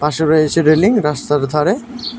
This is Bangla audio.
পাশে রয়েছে রেলিং রাস্তার ধারে।